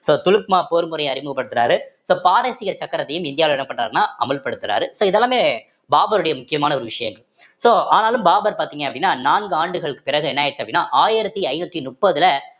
so துலுக்மா போர் முறைய அறிமுகப்படுத்துறாரு so பாரசீக சக்கரத்தையும் இந்தியாவுல என்ன பண்றாருன்னா அமல்படுத்துறாரு so இது எல்லாமே பாபருடைய முக்கியமான ஒரு விஷயங்கள் so ஆனாலும் பாபர் பார்த்தீங்க அப்படின்னா நான்கு ஆண்டுகளுக்கு பிறகு என்ன ஆயிடுச்சு அப்படின்னா ஆயிரத்தி ஐந்நூத்தி நுப்பதுல